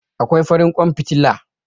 Akwai farin ƙwan fitila.